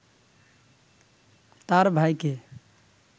তার ভাইকে